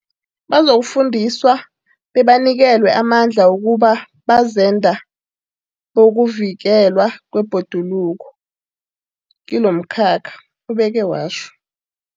Bazokufundiswa bebanikelwe amandla wokuba bazenda bokuvikelwa kwebhoduluko kilomkhakha, ubeke watjho.